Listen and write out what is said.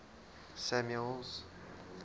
samuel's